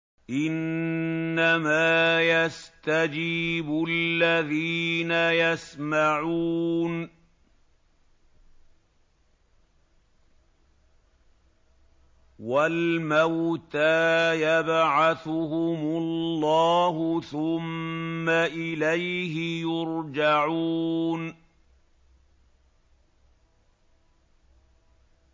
۞ إِنَّمَا يَسْتَجِيبُ الَّذِينَ يَسْمَعُونَ ۘ وَالْمَوْتَىٰ يَبْعَثُهُمُ اللَّهُ ثُمَّ إِلَيْهِ يُرْجَعُونَ